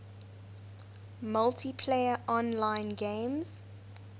multiplayer online games